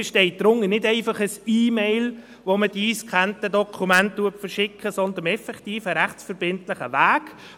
Man versteht darunter nicht einfach ein E-Mail, mit der die eingescannten Dokumente verschickt werden, sondern effektiv ein rechtsverbindlicher Weg.